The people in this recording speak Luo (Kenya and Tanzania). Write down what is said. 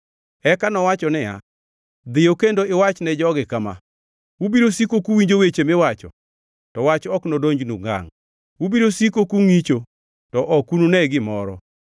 Eka nowacho niya, “Dhiyo kendo iwachne jogi kama: “ ‘Ubiro siko kuwinjo weche miwacho to wach ok nodonjnu ngangʼ; ubiro siko kungʼicho, to ok unune gimoro.’